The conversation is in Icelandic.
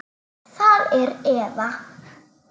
Það er Eva.